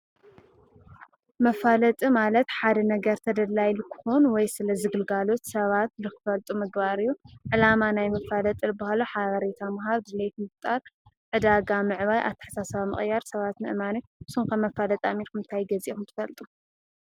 መፋለጥ ማለት ሓደ ነገር ተደላይ ልክን ወይ ስለ ዝግልጋሎት ሰባት ልኽፈልጡ ምግባርዩ ዕላማ ናይ ምፋለጥርብሃሉ ሓዋሬታ ምሃፍ ድ ልትምፍጣር ዕዳጋ ምዕባይ ኣተሓሳሰ ምቕያር ሰባት ምእማነ ሱምከብ መፋለጥ ኣሚርኹምንታይ ገዜኹን ትፈልጡ?